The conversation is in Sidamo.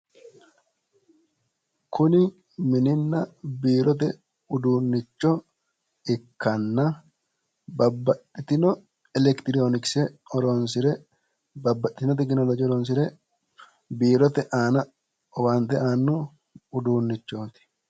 kuni mininna biirote uddunnicho ikkanna babbaxitino elektirooniksene horonsire babbaxxitino tekinolooje horonsire biirote aana owaante aanno uduunnichooti